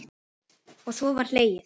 Og svo var hlegið.